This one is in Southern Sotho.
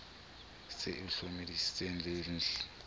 se e hlomamisitse di nlb